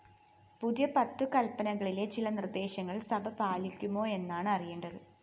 പുതിയ പത്തു കല്പനകളിലെ ചില നിര്‍ദ്ദേശങ്ങള്‍ സഭ പാലിക്കുമോയെന്നാണ് അറിയേണ്ടത്